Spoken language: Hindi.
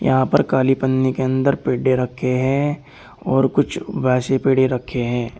यहां पर काली पन्नी के अंदर पेडे रखे हैं और कुछ वैसे पेड़े रखे हैं।